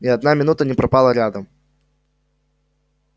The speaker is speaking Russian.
ни одна минута не пропала рядом